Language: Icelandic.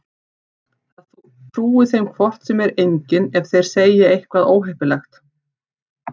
Það trúi þeim hvort sem er enginn ef þeir segja eitthvað óheppilegt.